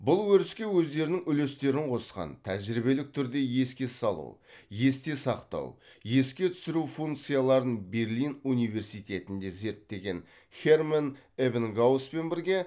бұл өріске өздерінің үлестерін қосқан тәжірибелік түрде еске салу есте сақтау еске түсіру функцияларын берлин университетінде зерттеген херманн эбингауспен бірге